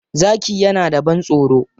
Zaki yana da ban-tsoro.